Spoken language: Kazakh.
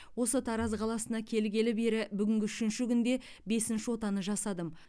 осы тараз қаласына келгелі бері бүгінгі үшінші күнде бесінші отаны жасадым